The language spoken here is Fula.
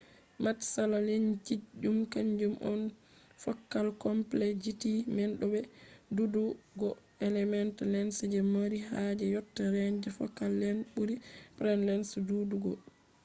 matsala lensji zum kanjum on fokal komplekzity man bo be ɗuuɗugo element lens je ko mari haaje yotta renj fokal lent ɓuri praim lens ɗuɗugo